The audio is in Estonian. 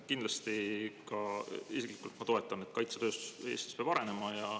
Kindlasti mina isiklikult toetan seda, et kaitsetööstus Eestis peab arenema.